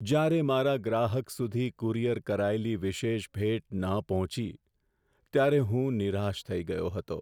જ્યારે મારા ગ્રાહક સુધી કુરિયર કરાયેલી વિશેષ ભેટ ન પહોંચી, ત્યારે હું નિરાશ થઈ ગયો હતો.